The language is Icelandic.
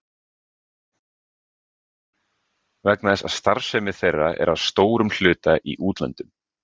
Svavar Halldórsson: Vegna þess að starfsemi þeirra er að stórum hluta í útlöndum?